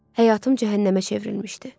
Həyatım cəhənnəmə çevrilmişdi.